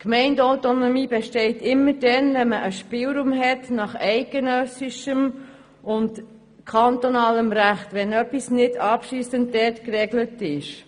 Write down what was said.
Die Gemeindeautonomie besteht immer dann, wenn es einen Spielraum nach eidgenössischem und kantonalem Recht gibt, das heisst, wenn dort etwas nicht abschliessend geregelt ist.